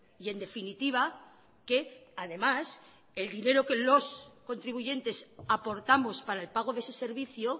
y en definitiva que además el dinero que los contribuyentes aportamos para el pago de ese servicio